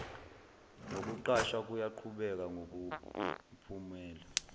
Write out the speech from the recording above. nokuqashwa kuyaqhubeka ngokomphumela